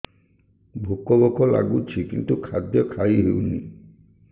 ଭୋକ ଭୋକ ଲାଗୁଛି କିନ୍ତୁ ଖାଦ୍ୟ ଖାଇ ହେଉନି